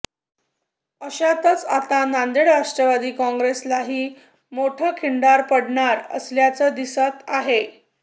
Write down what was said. अशातच आता नांदेड राष्ट्रवादी काँग्रेसलाही मोठं खिंडार पडणार असल्याचं दिसत आहे